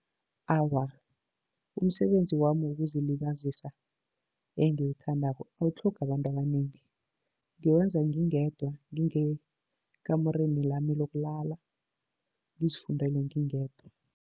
Awa, umsebenzi wami wokuzilibazisa engiwuthandako awutlhogi abantu abanengi. Ngiwenza ngingedwa ngekamureni lami lokulala, ngizifundele ngingedwa.